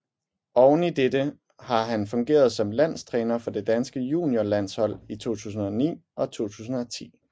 Oveni dette har han fungeret som landstræner for det danske juniorlandshold i 2009 og 2010